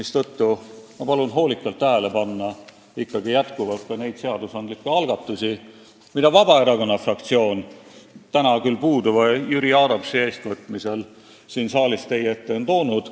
Seetõttu ma palun hoolikalt tähele panna neid seadusandlikke algatusi, mis Vabaerakonna fraktsioon on täna küll puuduva Jüri Adamsi eestvõtmisel siin saalis teie ette toonud.